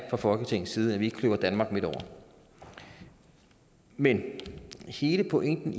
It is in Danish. fra folketingets side at vi ikke kløver danmark midt over men hele pointen